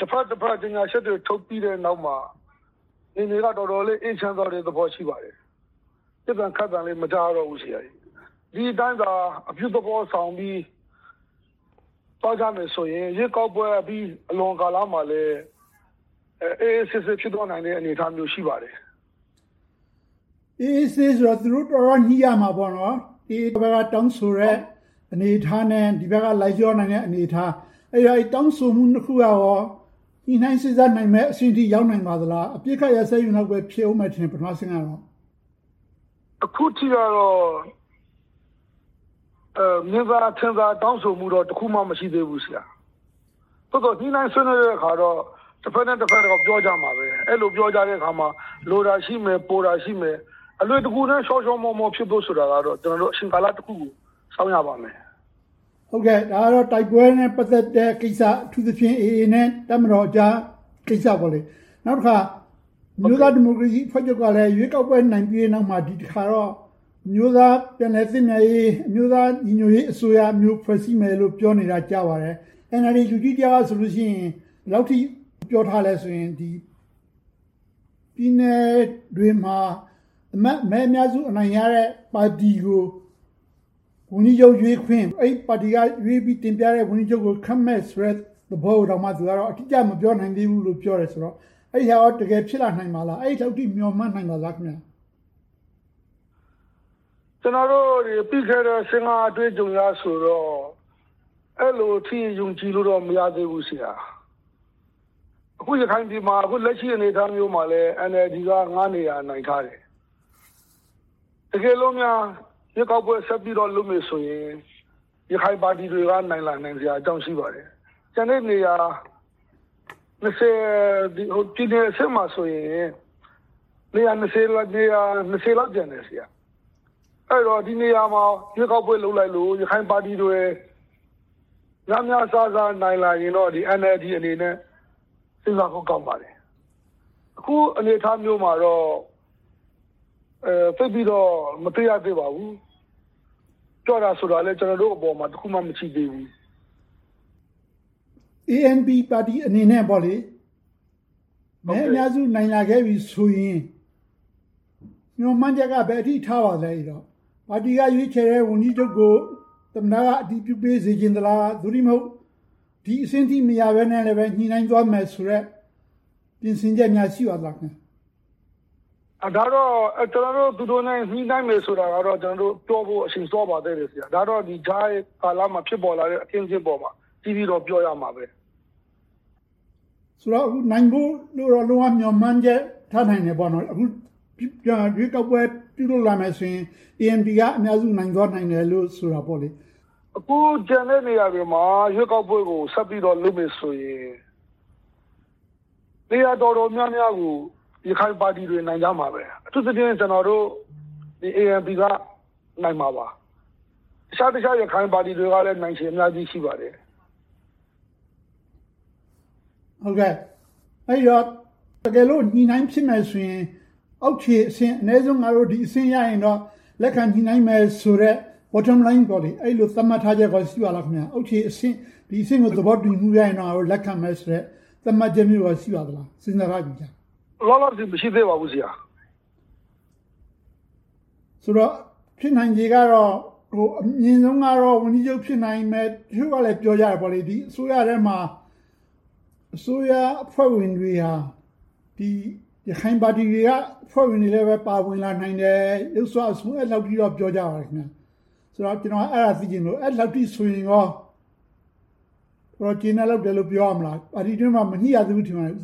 တဘက်နဲ့တဘက် ကြေညာချက်တွေ ထုတ်ပြီးတဲ့နောက်မှာ အခြေအနေက တော်တော်လေး အေးချမ်းသွားတဲ့ အနေအထား ရှိပါတယ်။ ပစ်သံခတ်သံလည်း မကြားရတော့ဘူး။ ဒီအတိုင်းသာ အပြုသဘောဆောင်ပြီး သွားကြမယ်ဆိုရင် ရွေးကောက်ပွဲကြီးအလွန် ကာလမှာလည်း အေးအေးဆေးဆေး ဖြစ်သွားနိုင်တဲ့ အနေအထား ရှိပါတယ်။ အေးအေးဆေးဆေးဆိုတာ သူတို့ တော်တော်လေး ညှိရမှာပေါ့နော်။ AA ဘက်က တောင်းဆိုတဲ့ အနေအထားနဲ့ ဒီဘက်က လိုက်လျောနိုင်တဲ့ အနေအထား။ အဲဒီတောင်းဆိုမှု နှစ်ခုကရော ညှိနှိုင်းစေ့စပ်နိုင်မယ့်အဆင့်အထိ ရောက်နိုင်မလား။ အပစ်အခတ်ရပ်စဲရေးလောက်ပဲ ဖြစ်မယ်ထင်တယ် ပထမအဆင့်ကတော့။ အခုထိတော့ မြင်သာထင်သာ တောင်းဆိုမှုတော့ တစ်ခုမှ မရှိသေးဘူး။ သို့သော် ညှိနှိုင်းဆွေးနွေးတဲ့အခါတော့ တဘက်နဲ့တဘက်တော့ ပြောကြမှာပဲ။ အဲဒီလို ပြောကြတဲ့အခါ၊ လိုတာရှိမယ်၊ ပိုတာရှိမယ်။ အလွယ်တကူ ချောချောမောမော ဖြစ်ဖို့ဆိုတာကတော့ အချိန်ကာလတစ်ခုကို စောင့်ရပါမယ်။ ဒါကတော့ တိုက်ပွဲနဲ့ ပတ်သက်တဲ့ကိစ္စ။ အထူးသဖြင့် AA နဲ့ တပ်မတော်ကြားကိစ္စပေါ့။ နောက်တခါ အမျိုးသားဒီမိုကရေစီအဖွဲ့ချုပ်ကလည်း ရွေးကောက်ပွဲ နိုင်ပြီးတဲ့အခါမှာ ဒီတစ်ခါတော့ အမျိုးသားပြန်လည်သင့်မြတ်ရေး၊ အမျိုးသားညီညွှတ်ရေးအစိုးရမျိုး ဖွဲ့စည်းမယ်လို့ ကြားနေပါတယ်။ NLD လူကြီးတစ်ယောက်ကဆို ဘယ်လောက်အထိ ပြောထားသလဲဆိုရင် ပြည်နယ်တွေမှာ အမတ်မဲ အများစုရတဲ့ ပါတီကို ဝန်ကြီးချုပ်ရွေးခွင့် - အဲဒီပါတီကရွေးပြီး တင်ပြတဲ့ ဝန်ကြီးချုပ်ကို ခန့်မယ်ဆိုတဲ့သဘောကိုတောင် သူကတော့ အတိအကျ မပြောနိုင်သေးဘူးလို့ ပြောပါတယ်။ အဲဒါ တကယ်ဖြစ်လာနိုင်ပါသလား။ အဲဒီအထိ မျှော်မှန်းနိုင်ပါသလား။ ကျနော်တို့တွေ သိခဲ့တဲ့ ၂၀၁၅ အတွေ့အကြုံအရဆိုရင် အဲဒီလောက်ထိ ယုံကြည်လို့ မရသေးဘူး။ အခု ရခိုင်ပြည်မှာ အခုလက်ရှိ အနေအထားမျိုးမှာ NLD က နေရာ နိုင်ထားတယ်။ တကယ်လို့များ ရွေးကောက်ပွဲဆက်ပြီးတော့ လုပ်မယ်ဆိုရင် ရခိုင်ပါတီတွေက နိုင်လာစရာအကြောင်း ရှိပါတယ်။ ကျန်တဲ့နေရာ ပြည်နယ်အဆင့်မှာဆိုရင် လောက် ကျန်တယ်။ အဲဒီတော့ ဒီနေရာတွေမှာ ရွေးကောက်ပွဲလုပ်လိုက်လို့ ရခိုင်ပါတီတွေ များများစားစား နိုင်လာရင်တော့ NLD အနေနဲ့ စဉ်းစားဖို့ကောင်းပါတယ်။ အခုအနေအထားမျိုးမှာတော့ သိပ်ပြီးတော့ မသိရသေးပါဘူး။ ပြောတာဆိုတာလည်း ကျနော်တို့အပေါ်မှာ တစ်ခုမှ မရှိသေးပါဘူး။ ANP ပါတီအနေနဲ့ မဲအများစု နိုင်လာခဲ့ပြီဆိုရင် မျှော်မှန်းချက်က ဘယ်အထိ ထားပါသလဲ။ ပါတီက ရွေးချယ်တဲ့ ဝန်ကြီးချုပ်ကို သမ္မတက အတည်ပြုပေးစေချင်လား။ သို့တည်းမဟုတ် ဒီအဆင့်ထိမရဘဲနဲ့ ညှိနှိုင်းသွားမယ်ဆိုတဲ့ ပြင်ဆင်ချက်များ ရှိပါသလား။ ဒါကတော့ သူတို့နဲ့ ညှိနှိုင်းမယ်ဆိုတာကတော့ ပြောဖို့ အချိန်စောပါသေးတယ်။ ဒါကတော့ ကြားကာလမှာ ဖြစ်ပေါ်လာတဲ့ အခင်းအကျင်းပေါ်မှာ အသီးသီးတော့ ပြောရမှာပဲ။ ဆိုတော့ နိုင်ဖို့တော့ လုံးဝမျှော်မှန်းချက် ထားနိုင်တယ်ပေါ့။ အခု ရွေးကောက်ပွဲ ပြန်လည်ပြုလုပ်လာမယ်ဆိုရင် ANP က အများဆုံး နိုင်သွားနိုင်မယ်လို့ ဆိုတာပေါ့။ အခုကျန်တဲ့နေရာတွေမှာ ရွေးကောက်ပွဲကို ဆက်ပြီးတော့ လုပ်မယ်ဆိုရင် နေရာတော်တော်များများကို ရခိုင်ပါတီတွေ နိုင်ကြမှာပဲ။ အထူးသဖြင့် ကျနော်တို့ ANP က နိုင်မှာပါ။ အခြားအခြားသော ရခိုင်ပါတီတွေကလည်း နိုင်ချေအများကြီး ရှိပါတယ်။ အဲဒီတော့ တကယ်လို့ ညှိနှိုင်းဖြစ်မယ်ဆိုရင် အောက်ခြေအဆင့် အနည်းဆုံး ငါတို့ ဒီအဆင့်ရရင်တော့ လက်ခံညှိနှိုင်းမယ်ဆိုတဲ့ bottom line အဲဒီလို သတ်မှတ်ထားချက် ရှိပါသလား။ အောက်ခြေအဆင့်ကို သဘောတူညီမှုရရင်တော့ ငါတို့ လက်ခံမယ်ဆိုတဲ့ သတ်မှတ်ချက်မျိုး ရှိပါသလား။ စဉ်းစားထားပြီးပြီလား။ လောလောဆယ် မရှိသေးပါဘူး။ ဆိုတော့ ဖြစ်နိုင်ချေကတော့ အမြင်ဆုံးကတော့ ဝန်ကြီးချုပ် ဖြစ်နိုင်မယ်။ အချို့ကလဲ ပြောကြတယ် ဒီအစိုးရထဲမှာ အစိုးရအဖွဲ့ဝင်တွေက ရခိုင်ပါတီတွေက အဖွဲ့ဝင်တွေလည်း ပါဝင်လာနိုင်တယ်။ ယုတ်စွအဆုံး အဲဒီလောက်အထိ ပြောကြပါတယ်။ ဆိုတော့ ကျနော်က အဲဒါကို သိချင်လို့ အဲဒီလောက်ဆို ကျေနပ်လောက်တယ်လို့ ပြောရမလား။ ပါတီတွင်းမှာ မညှိရသေးဘူး ထင်ပါတယ်။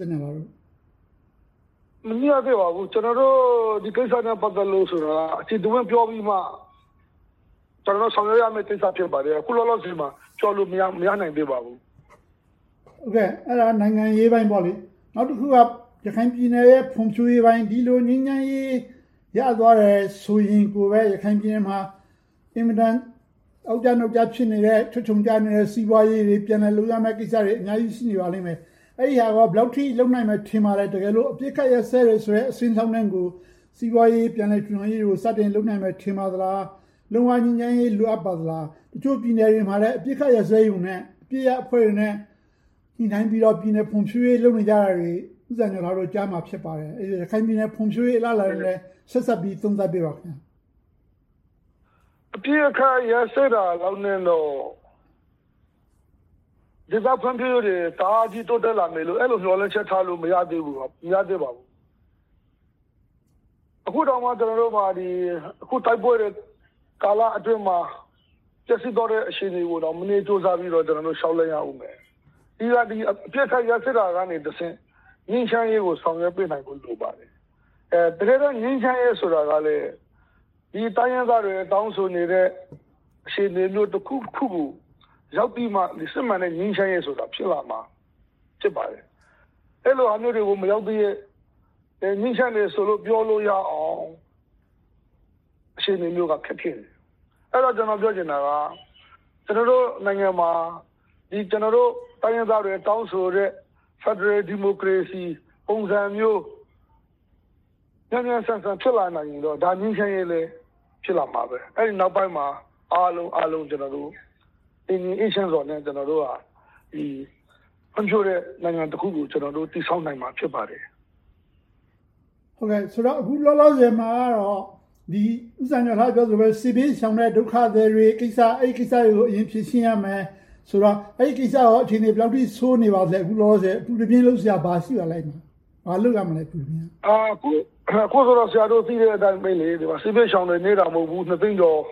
မညှိရသေးပါဘူး။ ကျနော်တို့ ဒီကိစ္စနဲ့ ပတ်သက်လို့ အကျယ်တဝန့်ပြောပြီးမှ ဆောင်ရွက်ရမယ့် ကိစ္စ ဖြစ်ပါတယ်။ အခုလောလောဆယ်မှာ ပြောလို့မရနိုင်သေးပါဘူး။ အဲဒါက နိုင်ငံရေးပိုင်းပေါ့။ နောက်တစ်ခုက ရခိုင်ပြည်နယ်ရဲ့ ဖွံ့ဖြိုးရေးပိုင်း။ ဒီလို ငြိမ်းချမ်းရေး ရသွားတယ်ဆိုရင်ပဲ ရခိုင်ပြည်နယ်မှာ အင်မတန် အောက်ကျနောက်ကျ ဖြစ်နေတဲ့ ချွတ်ခြုံကျနေတဲ့ စီးပွားရေးတွေ ပြန်လည်လုပ်ရမယ့်ကိစ္စတွေ အများကြီး ရှိနေသေးပါလိမ့်မယ်။ အဲဒါတွေကော ဘယ်လောက်အထိ လုပ်နိုင်မယ် ထင်ပါသလဲ။ တကယ်လို့ အပစ်အခတ် ရပ်စဲတယ်ဆိုတဲ့ အဆင့်လောက်ကို စီးပွားရေး ပြန်လည်ထူထောင်ရေးကို စတင်လုပ်နိုင်မယ် ထင်ပါသလား။ လုံးဝငြိမ်းချမ်းရေး လိုအပ်ပါသလား။ အချို့ပြည်နယ်တွေမှာလည်း အပစ်အခတ်ရပ်စဲရုံနဲ့ အပစ်ရပ်အဖွဲ့တွေနဲ့ ညှိနှိုင်းပြီးတော့ ပြည်နယ်ဖွံ့ဖြိုးရေးတွေ လုပ်နေတာတွေကို ဦးစံလှကျော်တို့ ကြားမှာ ဖြစ်ပါတယ်။ အဲဒီတော့ ရခိုင်ပြည်နယ် ဖွံ့ဖြိုးရေးနဲ့ ဆက်စပ်ပြီး သုံးသပ်ပေးပါ။ အပစ်အခတ် ရပ်စဲတာလောက်နဲ့တော့ ဒေသဖွံ့ဖြိုးရေးတွေ တအားကြီး တိုးတက်လာမယ်လို့ အဲဒီလို မျှော်လင့်ချက်ထားလို့ မရသေးဘူး။ အခုတောင်မှ ကျနော်တို့မှာ တိုက်ပွဲတွေကာလအတွင်းမှာ ပျက်စီးသွားတဲ့ အခြေအနေတွေကို မနည်းကြိုးစားပြီးတော့ လျှောက်လှမ်းသွားရအုံးမယ်။ ပြီးတော့ အပစ်ခတ်ရပ်စဲတာကနေတဆင့် ငြိမ်းချမ်းရေးကို ဆောင်ရွက်ပေးနိုင်ဖို့ လိုပါတယ်။ တကယ်တော့ ငြိမ်းချမ်းရေးဆိုတာကလဲ ဒီတိုင်းရင်းသားတွေ တောင်းဆိုနေတဲ့ အခြေအနေမျိုး တစ်ခုခုကို ရောက်ပြီးမှ စစ်မှန်တဲ့ ငြိမ်းချမ်းရေး ဖြစ်လာမှာ ဖြစ်ပါတယ်။ အဲဒီလိုဟာမျိုးတွေကို မရောက်သရွေ့ ငြိမ်းချမ်းတယ်ဆိုလို့ ပြောလို့ရအောင် အခြေအနေမျိုးက ခက်ခဲတယ်။ အဲဒီတော့ ကျနော်ပြောချင်တာက ကျနော်တို့နိုင်ငံမှာ တိုင်းရင်းသားတွေ တောင်းဆိုနေတဲ့ ဖယ်ဒရယ်ဒီမိုကရေစီ ပုံစံမျိုး မြန်မြန်ဆန်ဆန် ဖြစ်လာနိုင်ရင်တော့ ငြိမ်းချမ်းရေးလည်း ဖြစ်လာမှာပဲ။ အဲဒီနောက်ပိုင်းမှာ အားလုံးအားလုံး တည်ငြိမ်အေးချမ်းစွာနဲ့ ဖွံ့ဖြိုးတဲ့နိုင်ငံတစ်ခုကို တည်ဆောက်နိုင်မှာ ဖြစ်ပါတယ်။ အခုလောလောဆယ်မှာ ဦးစံကျော်လှ ပြောသလိုပဲ စစ်ဘေးရှောင်တွေကိစ္စ။ အဲဒီကိစ္စတွေကို အရင်ဖြေရှင်းရမယ်ဆိုတော့ အဲဒီကိစ္စတွေက ဘယ်လောက်ထိ အခြေအနေတွေ ဆိုးနေပါသလဲ။ အခုလက်ရှိ အပူတပြင်း လုပ်စရာ ဘာတွေရှိပါသလဲ။ ဘာလုပ်ရမလဲ။ အခုတော့ ဆရာတို့ သိတဲ့အတိုင်ပဲ စစ်ဘေးရှောင်တွေ နည်းတာမဟုတ်ဘူး။ နှစ်သိန်းကျော်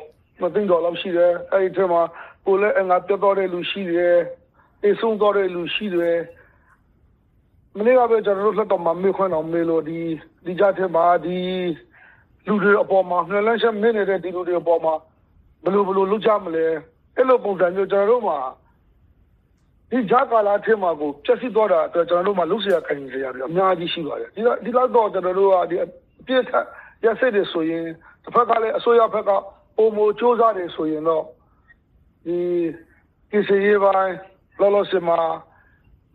လောက် ရှိတယ်။ အဲဒီအထဲမှာ ကိုယ်လက်အင်္ဂါပျက်သွားတဲ့လူတွေ ရှိတယ်။ သေဆုံးသွားတဲ့လူတွေ ရှိတယ်။ မနေ့ကပဲ လွှတ်တော်မှာ မေးခွန်းမေးလို့ ဒီကြားထဲမှာ လူတွေအပေါ် မျှော်လင့်ချက်မဲ့နေတဲ့ လူတွေအပေါ်မှာ ဘယ်လိုလုပ်ကြမလဲ။ အဲဒီလိုပုံစံမျိုး ကျနော်တို့မှာ ဒီကြားကာလထဲမှာကို ဖျက်ဆီးသွားတာ လုပ်စရာကိုင်စရာတွေ အများကြီး ရှိပါတယ်။ အပစ်အခတ်ရပ်စဲတယ်ဆိုရင် တဘက်ကလဲ အစိုးရဘက်က ပိုမိုကြိုးစားတယ်ဆိုရင်တော့ ကယ်ဆယ်ရေးပိုင်း၊ လောလောဆယ်မှာ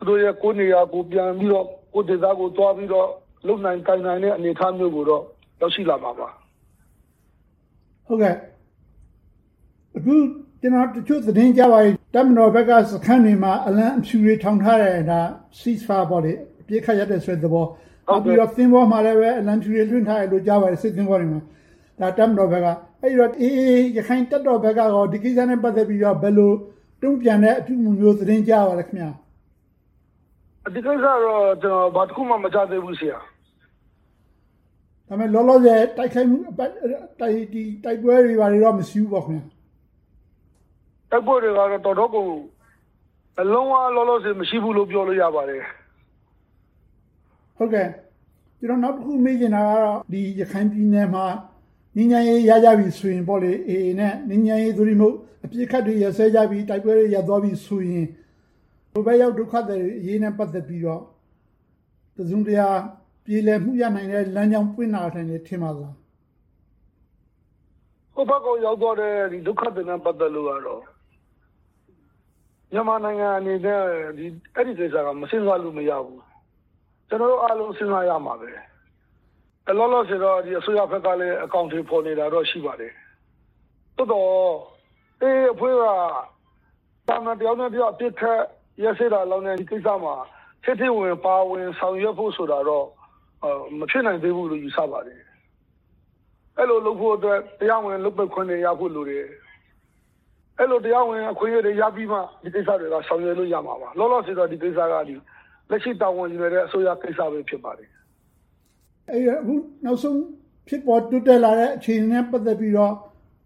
သူတို့တွေ ကိုယ့်နေရာကိုယ် ပြန်ပြီးတော့၊ ကိုယ့်ဒေသကိုယ် သွားပြီးတော့ လုပ်နိုင်ကိုင်နိုင်တဲ့ အနေအထားမျိုးကိုတော့ ရောက်ရှိလာမှာပါ။ အခု ကျနော် သတင်းကြားတာက တပ်မတော်ဘက်က စခန်းတွေမှာ အလံဖြူတွေ ထောင်ထားတယ်။ ဒါက Cease Fire အပစ်အခတ်ရပ်တယ်ဆိုတဲ့သဘော၊ နောက်ပြီးတော့ စစ်သင်္ဘောတွေပေါ်မှာလည်း အလံဖြူတွေ လွှင့်ထားတယ်လို့ ကြားပါတယ်။ တပ်မတော်ဘက်က။ အဲဒီတော့ AA ရက္ခိုင်တပ်တော်ဘက်ကရော ဒီကိစ္စနဲ့ ပတ်သက်ပြီးတော့ ဘယ်လို တုံ့ပြန်တဲ့အပြုအမှုမျိုး သတင်းကြားရပါလဲ။ ဒီကိစ္စတော့ ဘာတစ်ခုမှ မကြားရသေးဘူး။ လောလောဆယ် တိုက်ခိုက်မှုတွေ တိုက်ပွဲတွေတော့ မရှိဘူးပေါ့။ တိုက်ပွဲတွေကတော့ လုံးဝလောလောဆယ် မရှိဘူးလို့ ပြောလို့ရပါတယ်။ နောက်တစ်ခု မေးချင်တာကတော့ ရခိုင်ပြည်နယ်မှာ ငြိမ်းချမ်းရေး ရကြပြီဆိုရင် AA နဲ့ ငြိမ်းချမ်းရေး သို့တည်းမဟုတ် အပစ်အခတ်တွေ ရပ်စဲသွားကြပြီဆိုရင် ဟိုဘက်ရောက် ဒုက္ခသည်တွေနဲ့ ပတ်သက်ပြီးတော့ တစုံတရာ ပြေလည်မှု ရနိုင်မယ့် လမ်းကြောင်းပွင့်လာနိုင်မယ် ထင်ပါသလား။ ဟိုဘက်ကို ရောက်သွားတဲ့ ဒုက္ခသည်တွေနဲ့ ပတ်သက်လို့ကတော့ မြန်မာနိုင်ငံအနေနဲ့ အဲဒီကိစ္စနဲ့ ပတ်သက်လို့ မစဉ်းစားလို့ မရဘူး။ ကျနော်တို့အားလုံး စဉ်းစားရမှာပဲ။ လောလောဆယ်တော့ အစိုးရဘက်ကလည်း အကောင်အထည်ဖော်နေတာတော့ ရှိပါတယ်။ သို့သော် AA အဖွဲ့က သာမန်တစ်ဖွဲ့နဲ့တစ်ဖွဲ့ အပစ်ရပ်တာလောက်နဲ့ ဒီကိစ္စမှာ ထဲထဲဝင်ဝင် ပါဝင်ဆောင်ရွက်ဖို့ဆိုတာတော့ မဖြစ်နိုင်သေးဘူးလို့ ယူဆပါတယ်။ အဲဒီလိုလုပ်ဖို့အတွက် တရားဝင်လုပ်ပိုင်ခွင့်တွေရဖို့ လိုအပ်တယ်။ အဲဒီလို တရားဝင်အခွင့်အရေးတွေ ရပြီးမှ ဒီကိစ္စတွေက ဆောင်ရွက်လို့ ရမှာပါ။ လောလောဆယ်တော့ ဒီကိစ္စက လက်ရှိတာဝန်ယူထားတဲ့ အစိုးရကိစ္စပဲ ဖြစ်ပါတယ်။ နောက်ဆုံးဖြစ်ပေါ်တိုးတက်လာတဲ့ အခြေအနေနဲ့ ပတ်သက်ပြီးတော့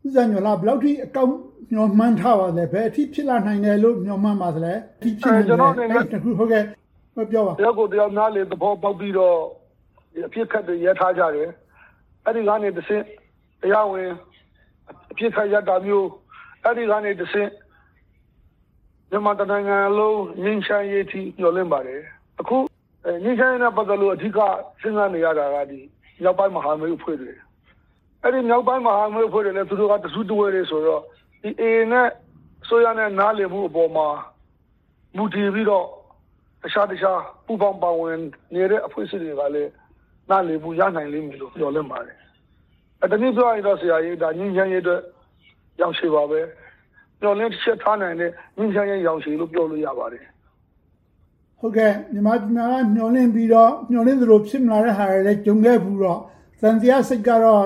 ဦးစံကျော်လှ ဘယ်လောက်အထိ အကောင်းမြင်မျှော်မှန်းထားပါသလဲ။ ဘယ်အထိ ဖြစ်ပေါ်လာနိုင်မယ်လို့ မျှော်မှန်းထားပါသလဲ။ ကျနော့်အနေနဲ့ တစ်ယောက်ကိုတစ်ယောက် နားလည်သဘောပေါက်ပြီးတော့ အပစ်ခတ်တွေ ရပ်ထားကြတယ်။ အဲဒီကနေတဆင့် တရားဝင်အပစ်ခတ်ရပ်တာမျိုး၊ အဲဒီကနေတဆင့် မြန်မာတနိုင်ငံလုံး ငြိမ်းချမ်းရေးအထိ မျှော်လင့်ပါတယ်။ အခု ငြိမ်းချမ်းရေးနဲ့ ပတ်သက်လို့ အဓိက စဉ်းစားနေရတာက မြောက်ပိုင်းမဟာမိတ်အဖွဲ့တွေ။ အဲဒီမြောက်ပိုင်းမဟာမိတ်အဖွဲ့တွေနဲ့ သူတို့က တစုတဝေးတည်းဆိုတော့ AA နဲ့ အစိုးရနဲ့ နားလည်မှုပေါ် မူတည်ပြီးတော့ တခြားတခြား ပူးပေါင်းပါဝင်နေတဲ့ အဖွဲ့အစည်းတွေကလည်း နားလည်မှု ရနိုင်လိမ့်မယ်လို့ မျှော်လင့်ပါတယ်။ တနည်းပြောရရင်တော့ ငြိမ်းချမ်းရေးအတွက် ရောင်ခြည်ပါပဲ။ မျှော်လင့်ချက်ထားနိုင်တဲ့ ငြိမ်းချမ်းရေးရောင်ခြည်လို့ ပြောလို့ရပါတယ်။ မြန်မာပြည်မှာက မျှော်လင့်ပြီးတော့ မျှော်လင့်သလို ဖြစ်မလာတဲ့ဟာတွေ ကြုံခဲ့ဖူးတော့ သံသယစိတ်ကတော့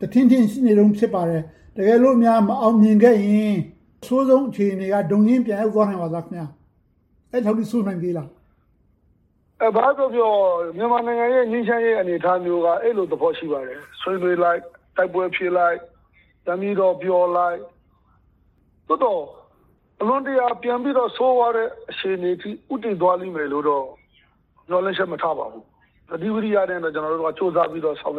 တထင့်ထင့် ရှိနေတုန်း ဖြစ်ပါတယ်။ တကယ်လို့များ မအောင်မြင်ခဲ့ရင် အဆိုးဆုံးအခြေအနေက ဒုံရင်းပြန်ရောက်သွားနိုင်ပါသလား။ အဲဒီထက် ဆိုးနိုင်သေးသလား။ ဘာပဲပြောပြော မြန်မာနိုင်ငံရဲ့ ငြိမ်းချမ်းရေး အနေအထားမျိုးက အဲဒီလိုသဘော ရှိပါတယ်။ ဆွေးနွေးလိုက်၊ တိုက်ပွဲဖြစ်လိုက် ပြန်ပြီးတော့ ပြောလိုက်။ သို့သော် အလွန်တရာ ပိုပြီးတော့ ဆိုးဝါးတဲ့ အခြေအနေအထိ ဦးတည်သွားလိမ့်မယ်လို့တော့ မျှော်လင့်ချက် မထားပါဘူး။ သတိဝီရိယနဲ့ပဲ ကျနော်တို့က ကြိုးစားပြီးတော့ ဆောင်